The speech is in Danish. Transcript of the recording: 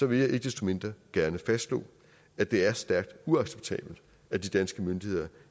vil jeg ikke desto mindre gerne fastslå at det er stærkt uacceptabelt at de danske myndigheder